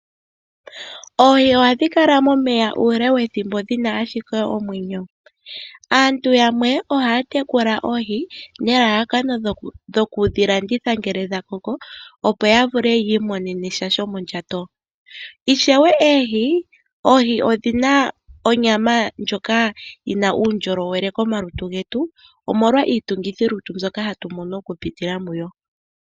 Oohi ohadhi kala momeya uule wethimbo dhi na ashike omwenyo. Aantu yamwe ohaa tekula oohi nelalakano lyokudhi landitha ngele dha koko, opo ya vule yi imonene sha shomondjato. Ishewe oohi odhi na onyama ndjoka yi na uundjolowele komalutu getu, omolwa iitungithilutu mbyoka hatu mono okupitila muyo.